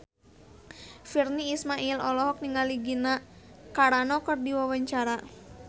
Virnie Ismail olohok ningali Gina Carano keur diwawancara